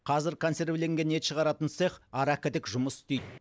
қазір консервіленген ет шығаратын цех арагідік жұмыс істейді